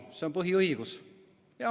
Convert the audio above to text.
See on põhiõigus.